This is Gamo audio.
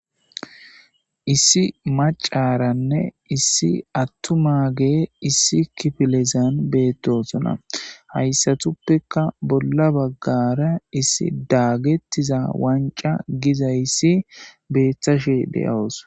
issi macaaranne issi attumaage issi kifilezan beettosona hayssatuppeka bolla baggara issi daagettiza wanca gizayissi beetashe de'awus